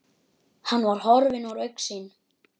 Hann var horfinn úr augsýn.